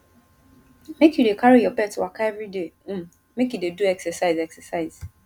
make you dey carry your pet waka everyday um make e dey do exercise exercise